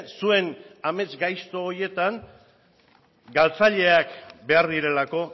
zuen amets gaizto horietan galtzaileak behar direlako